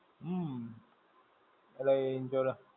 હમ. ભલે એ insurance